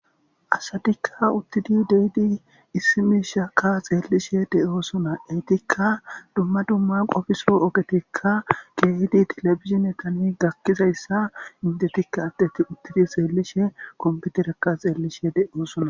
Asadikka uttidi dehidi issimiishaka xeellishe de7oosuna eytikka dumma dumma qofiso ogetikka keehidi telefizine talmi gakkizayssa indetikka addeti uttidi xeellishe komputerekka xeellishe de7osuna.